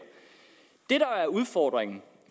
det der er udfordringen